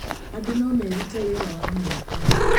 Andũ no merute wĩra wa moko.